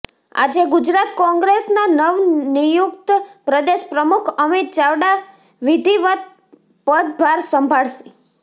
આજે ગુજરાત કોંગ્રેસના નવનિયુક્ત પ્રદેશ પ્રમુખ અમિત ચાવડા વિધિવત પદભાર સંભાળશે